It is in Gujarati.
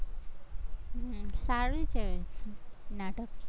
સારું છે, નાટક